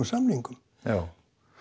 samningum já